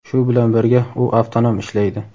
Shu bilan birga, u avtonom ishlaydi.